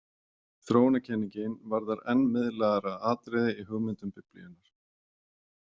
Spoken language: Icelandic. Þróunarkenningin varðar enn miðlægara atriði í hugmyndum Biblíunnar.